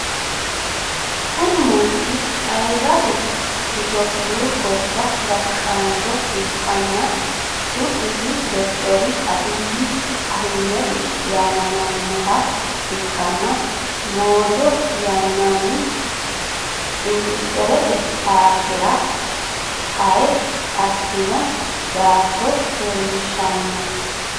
Kuni manchu ayiradu itiyophiyu gobba gashshancho ikkanna su'misino dokiter abiy ahimed yaamamannoha ikkanna moojo yinaanni industirete parkera hare assinno daa'tto leellishshanno.